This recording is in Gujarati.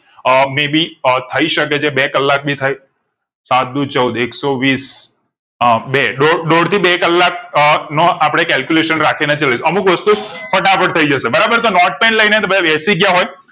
અમ may be અમ થઈ શકે છે બે કલાક ભી થાય સાત દુ ચૌદ એકસો વીસ બે દોઢ દોઢ થી બે કલાક નો અમ અપડે calculation રાખી ને ચાલી એ અમુક વસ્તુ ફટાફટ થઈ જશે બરાબર તો નોટે pen લાય ને તમે બેસી ગયા હોય